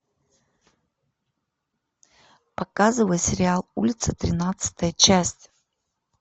показывай сериал улица тринадцатая часть